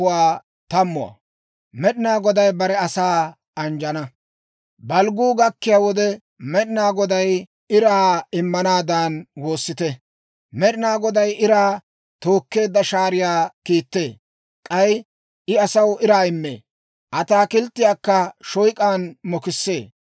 Balgguu gakkiyaa wode, Med'inaa Goday iraa immanaadan woossite. Med'inaa Goday Iraa tookkeedda shaariyaa kiittee; k'ay I asaw iraa immee; ataakilttiyaakka shoyk'aan mokissee.